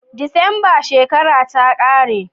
December shekara ta kare